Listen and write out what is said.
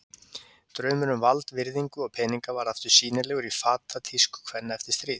Draumurinn um vald, virðingu og peninga varð aftur sýnilegur í fatatísku kvenna eftir stríð.